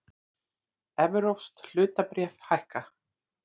Evrópsk hlutabréf hækka